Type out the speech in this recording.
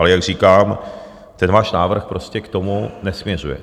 Ale jak říkám, ten váš návrh prostě k tomu nesměřuje.